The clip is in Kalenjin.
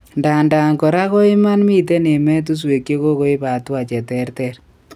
Ndadan kora ko iman miten emetuswek chekokoip hatua cheterter